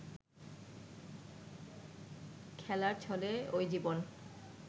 খেলার ছলে ওই জীবন